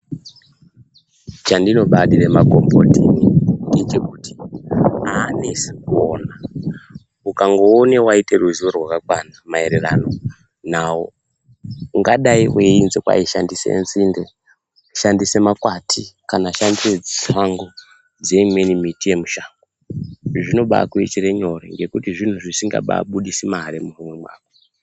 Chandinobadire makomboti ngechekuti anesi kuona, ukangoone waite ruziwo rwakakwana maererano nawo ungadai weinzi kwai shandise nzinde, shandise makwati kana shandise tsangu dzeimweni miti yemushango izvi zvinobakuitire nyore ngekuti zvinhu zvisingababudisi mare muhomwe mwako.